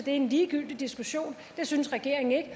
en ligegyldig diskussion det synes regeringen ikke